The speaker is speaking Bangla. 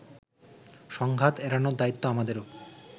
সংঘাত এড়ানোর দায়িত্ব আমাদেরও”